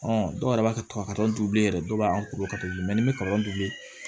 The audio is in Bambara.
dɔw yɛrɛ b'a ka du ye yɛrɛ dɔw b'a koro ka to ni bɛ kaba dun